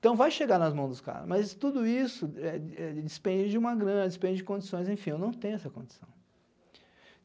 Então, vai chegar nas mãos dos caras, mas tudo isso é é dispende de uma grana, dispende de condições, enfim, eu não tenho essa condição.